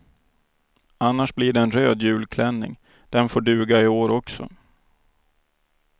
Annars blir det en röd julklänning, den får duga i år också.